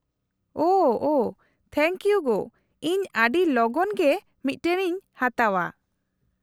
-ᱳᱷᱚ thank you ᱜᱳ, ᱤᱧ ᱟᱹᱰᱤ ᱞᱚᱜᱚᱱ ᱜᱮ ᱢᱤᱫᱴᱟᱝ ᱤᱧ ᱦᱟᱛᱟᱣᱼᱟ ᱾